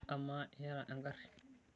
Amaa, iyata engari?